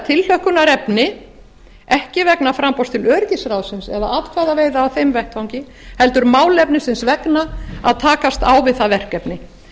tilhlökkunarefni ekki vegna framboðs til öryggisráðsins eða atkvæðaveiða á þeim vettvangi heldur málefnisins vegna að takast á við það verkefni